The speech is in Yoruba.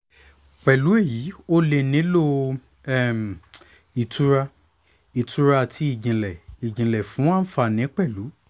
pẹ̀lú èyí o lè nílò um ìtura ìtura àti ìjìnlẹ̀ ìjìnlẹ̀ fún àǹfààní pẹ́lú